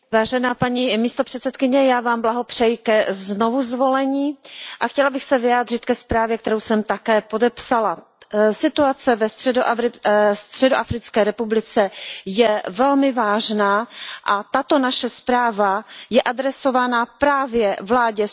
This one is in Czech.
Já vám blahopřeji ke znovuzvolení a chtěla bych se vyjádřit ke zprávě, kterou jsem také podepsala. Situace ve Středoafrické republice je velmi vážná a tato naše zpráva je adresována právě vládě Středoafrické republiky,